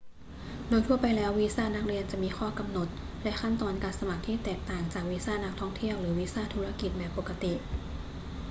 โดยทั่วไปแล้ว วีซ่านักเรียนจะมีข้อกำหนดและขั้นตอนการสมัครที่แตกต่างจากวีซ่านักท่องเที่ยวหรือวีซ่าธุรกิจแบบปกติ